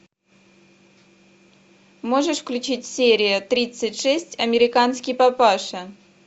можешь включить серия тридцать шесть американский папаша